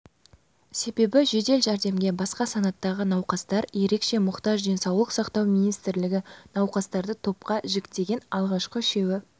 себебі жәдел жәрдемге басқа санаттағы науқастар ерекше мұқтаж денсаулық сақтау министрлігі науқастарды топқа жіктеген алғашқы үшеуі